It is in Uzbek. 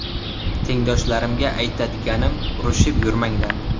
Tengdoshlarimga aytadiganim urushib yurmanglar.